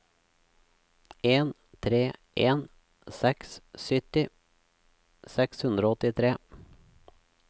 en tre en seks sytti seks hundre og åttitre